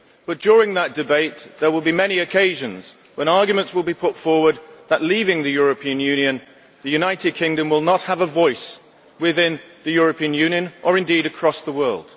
But, during that debate, there will be many occasions when arguments will be put forward that, by leaving the European Union, the United Kingdom will not have a voice within the European Union or indeed across the world.